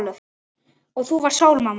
Og þú varst sól, amma.